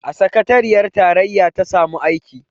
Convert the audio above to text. A sakateriyar tarayya ta samu aiki